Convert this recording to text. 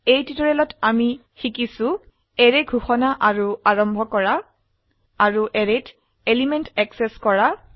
এই টিউটোৰিয়ালে আমি শিকিছো অ্যাৰে ঘোষনা অাৰু আৰম্ভ কৰা আৰু অ্যাৰেত এলিমেন্ট অ্যাক্সেস কৰা